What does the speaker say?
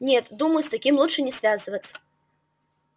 нет думаю с таким лучше не связываться